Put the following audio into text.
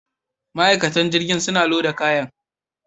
Ma'aikatan jirgin suna loda kayan.